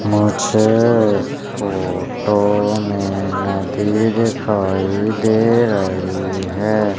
मुझे इस फोटो में नदी दिखाई दे रही है।